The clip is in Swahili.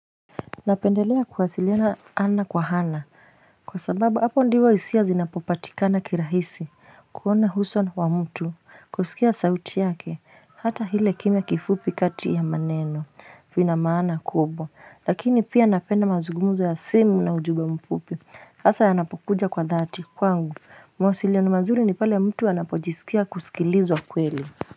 Napendelea kuwasiliana ana kwa ana kwa sababu hapo ndio hisia zinapopatikana kirahisi kuona uso wa mtu kusikia sauti yake, hata ile kimya kifupi kati ya maneno ina maana kubwa lakini pia napenda mazugumzo ya simu na ujumbe mfupi hasa yanapokuja kwa dhati kwangu mawasiliano mazuri ni pale mtu anapojisikia kusikilizwa kweli.